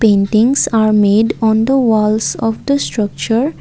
Paintings are made on the walls of the structure.